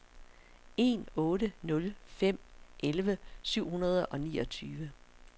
en otte nul fem elleve syv hundrede og niogtyve